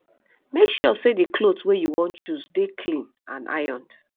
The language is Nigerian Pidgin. make sure sey di cloth wey you wan choose dey clean and ironed